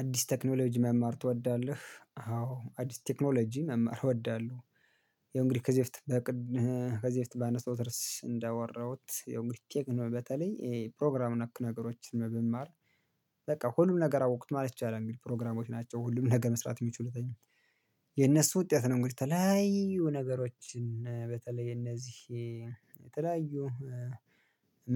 አዲስ ቴክኖሎጂ መማር ትወዳለህ? አዎ አዲስ ቴክኖሎጂ መማር ወደዳሉ። ያው ዎእ ንግዲህ ከዚህ በፊት በቅድ ከዚህ በፊት ባነስተውት ርስ እንዳወራሁት ያው እንግዲህ ቅንብ በተለይ ይሄ ፕሮግራም ነክ ነገሮችን ብማር። በቃ ሁሉም ነገር አወቅኩት ማለት ይቻላል። እንግዲህ ፕሮግራሞች ናቸው ሁሉም ነገ መስራት የሚችሉት። የነሱ ውጤት ነው እንግዲህ የተለያዪ ነገሮችን በተለይ እነዚህ የተለያዩ